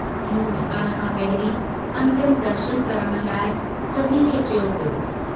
मुंहुं ढकण खां पहिरीं अन्तिम दर्शन करण लाइ सभिनी खे चयो वियो।